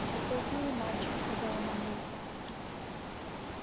какой милый мальчик сказала мамулька